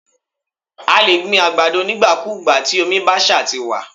A lè gbin àgbàdo nígbà kúùgbà, tí omi bá ṣa ti wà.